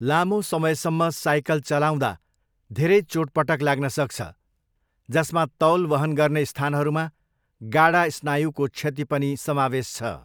लामो समयसम्म साइकल चलाउँदा धेरै चोटपटक लाग्न सक्छ, जसमा तौल वहन गर्ने स्थानहरूमा गाडा स्नायुको क्षति पनि समावेश छ।